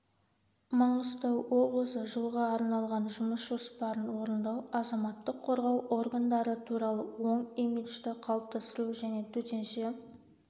маңғыстау облысы жылға арналған жұмыс жоспарын орындау азаматтық қорғау органдары туралы оң имиджді қалыптастыру және төтенше